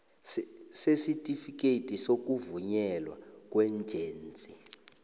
sesitifikhethi sokuvunyelwa kweejensi